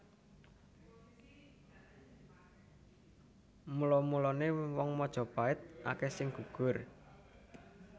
Mula mulané wong Majapait akèh sing gugur